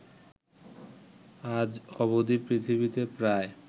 আজ অবধি পৃথিবীতে প্রায়